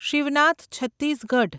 Shivnath Chhattisgarh